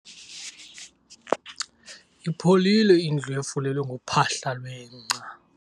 Ipholile indlu efulelwe ngophahla lwengca.